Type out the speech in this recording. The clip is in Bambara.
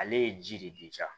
Ale ye ji de di jaa